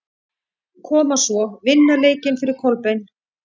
Koma svo, vinna leikinn fyrir Kolbein!